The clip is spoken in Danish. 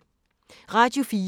Radio 4